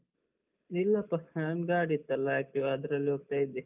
ಇಲ್ಲಪ್ಪ. ನಾನ್ ಗಾಡಿ ಇತ್ತಲ್ಲ Activa ಅದ್ರಲ್ಲಿ ಹೋಗ್ತಾ ಇದ್ದೆ.